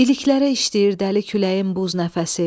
İliklərə işləyir dəli küləyin buz nəfəsi.